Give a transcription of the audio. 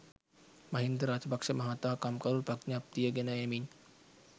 මහින්ද රාජපක්ෂ මහතා කම්කරු ප්‍රඥප්තිය ගෙන එමින්